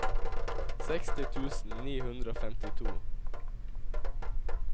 seksti tusen ni hundre og femtito